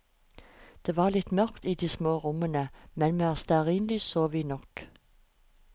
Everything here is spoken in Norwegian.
Det var litt mørkt i de små rommene, men med stearinlys så vi nok.